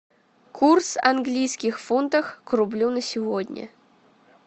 курс английских фунтах к рублю на сегодня